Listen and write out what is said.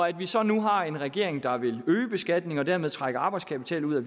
at vi så nu har en regering der vil øge beskatningen og dermed trække arbejdskapital ud